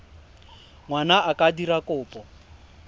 ngwana a ka dira kopo